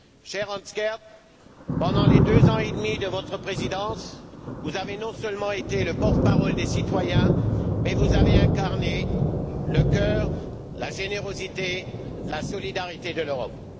Cher Hans Gert, pendant les deux ans et demi de votre présidence, vous avez non seulement été le porte parole des citoyens, mais vous avez également incarné le cœur, la générosité et la solidarité de l'Europe.